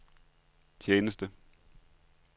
tjeneste